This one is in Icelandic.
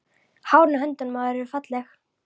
Hárin á höndunum á þér eru falleg.